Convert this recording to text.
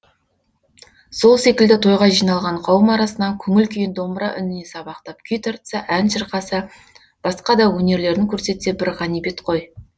сол секілді тойға жиналған қауым арасынан көңіл күйін домбыра үніне сабақтап күй тартса ән шырқаса басқа да өнерлерін көрсетсе бір ғанибет қой